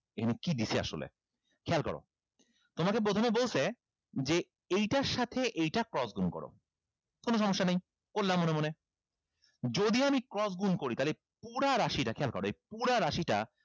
এইখানে কি দিছে আসলে খেয়াল করো তোমাকে প্রথমে বলছে যে এইটার সাথে এইটা cross গুন করো কোনো সমস্যা নাই করলাম মনে মনে যদি আমি cross গুন করি তাইলে এই পুরা রাশিটা খেয়াল করো এই পুরা রাশিটা